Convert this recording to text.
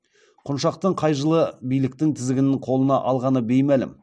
құншақтың қай жылы биліктің тізгінін қолына алғаны беймәлім